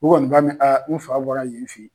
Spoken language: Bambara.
U kɔni b'a ɛn a n fa bɔra yen fɛ